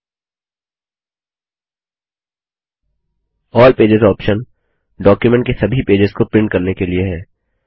अल्ल pages option document के सभी pages को प्रिंट करने के लिए है